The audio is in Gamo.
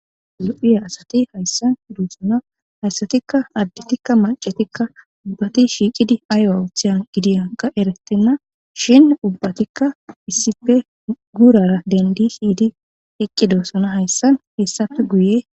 lo7iye asati hayssan duussana hayssatikka additikka macetikka ubbati shiiqidi aayo awuthiyan gidiyan ga eretenna shin ubbatikka issife gurara dendi hiidi eqqidossona hayssan hessafe guye